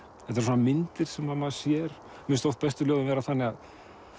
þetta eru myndir sem maður sér mér finnst oft bestu ljóðin vera þannig að